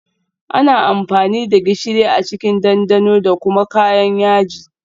Ana amfani da gishiri a cikin dandano da kuma kayan yaji